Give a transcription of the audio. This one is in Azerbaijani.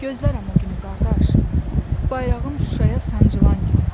Gözlərəm o günü qardaş, bayrağım Şuşaya sancılan günü.